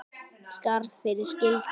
Skarð fyrir skildi